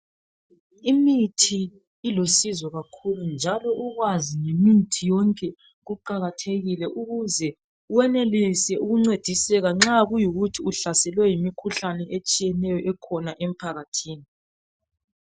Imithi ilusizo kakhulu njalo ukwazi ngemithi yonke kuqakathekile ukuze wenelise ukuncediseka nxa kuyikuthi uhlaselwe yimikhuhlane etshiyeneyo ekhona emphakathini.